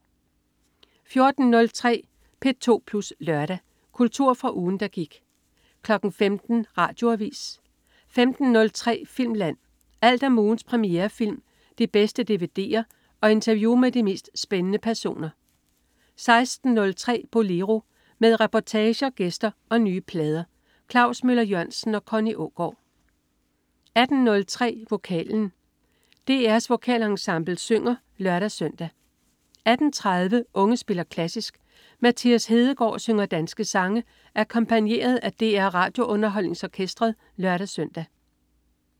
14.03 P2 Plus Lørdag. Kultur fra ugen, der gik 15.00 Radioavis 15.03 Filmland. Alt om ugens premierefilm, de bedste dvd'er og interview med de mest spændende personer 16.03 Bolero. Med reportager, gæster og nye plader. Klaus Møller-Jørgensen og Connie Aagaard 18.03 Vokalen. DR Vokalensemblet synger (lør-søn) 18.30 Unge spiller klassisk. Mathias Hedegaard synger danske sange akkompagneret af DR RadioUnderholdningsOrkestret (lør-søn)